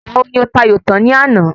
Ìgbà wo ni o ta ayò tan ní àná?